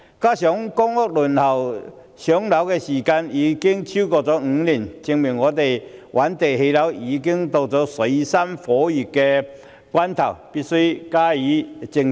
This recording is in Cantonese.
此外，公屋輪候時間超過5年，證明覓地建屋已經到了水深火熱的關頭，我們必須加以正視。